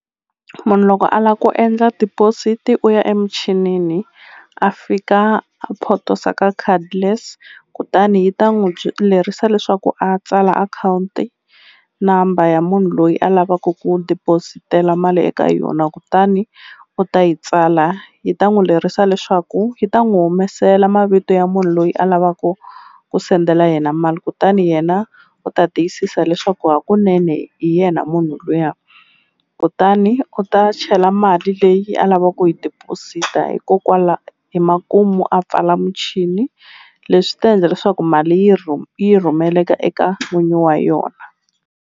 Munhu loko a la ku endla deposit u ya emichinini a fika a photosa ka cardless kutani yi ta n'wu lerisa leswaku a tsala akhawunti number ya munhu loyi a lavaku ku deposit-ela mali eka yona kutani u ta yi tsala yi ta n'wu lerisa leswaku yi ta n'wu humesela mavito ya munhu loyi a lavaku ku sendela yena mali kutani yena u ta tiyisisa leswaku hakunene hi yena munhu luya kutani u ta chela mali leyi a lava ku yi deposit-a hi makumu a pfala muchini leswi ta endla leswaku mali yi yi rhumelaka eka n'winyi wa yona.